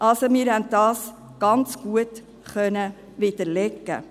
Also: Wir konnten dies ganz gut widerlegen.